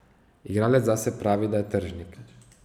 Igralec zase pravi, da je tržnik.